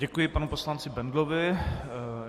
Děkuji panu poslanci Bendlovi.